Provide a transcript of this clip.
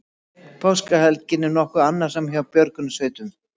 Páskahelgin var nokkuð annasöm hjá björgunarsveitum